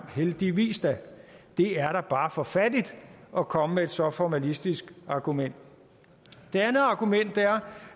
og heldigvis da det er da bare for fattigt at komme med et så formalistisk argument det andet argument er